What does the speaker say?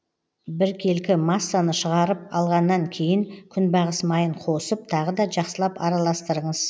біркелкі массаны шығарып алғаннан кейін күнбағыс майын қосып тағы да жақсылап араластырыңыз